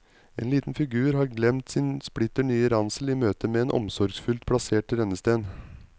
En liten figur har glemt sin splitter nye ransel i møtet med en omsorgsfullt plassert rennesten.